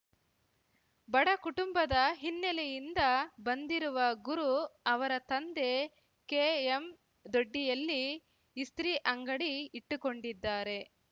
ಬಡ ಕುಟುಂಬದ ಹಿನ್ನೆಲೆಯಿಂದ ಬಂದಿರುವ ಗುರು ಅವರ ತಂದೆ ಕೆಎಂದೊಡ್ಡಿಯಲ್ಲಿ ಇಸ್ತ್ರಿ ಅಂಗಡಿ ಇಟ್ಟುಕೊಂಡಿದ್ದಾರೆ